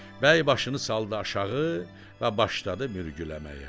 Bəy başını saldı aşağı və başladı mürgüləməyə.